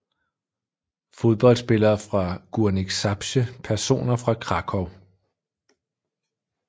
Fodboldspillere fra Górnik Zabrze Personer fra Kraków